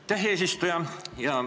Aitäh, eesistuja!